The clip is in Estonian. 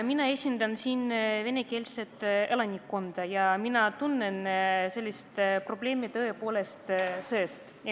Mina esindan siin venekeelset elanikkonda ja mina tunnen seda probleemi tõepoolest seestpoolt.